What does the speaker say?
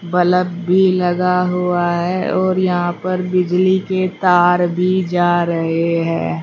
Bulb भी लगा हुआ है और यहां पर बिजली के तार भी जा रहे हैं।